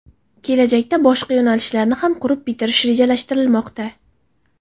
Kelajakda boshqa yo‘nalishlarni ham qurib bitirish rejalashtirilmoqda.